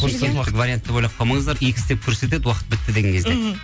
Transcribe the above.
вариант деп ойлап қалмаңыздар икс деп көрсетеді уақыт бітті деген кезде мхм